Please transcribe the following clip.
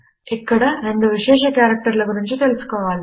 ఇక్కడ రెండు విశేష కారెక్టర్ల గురించి తెలుసుకోవాలి